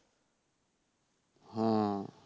হ্যাঁ